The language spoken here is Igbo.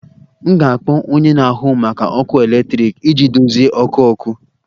M ga-akpọ onye na-ahụ maka ọkụ eletrik iji dozie ọkụ ọkụ